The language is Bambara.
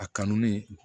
A kanu ne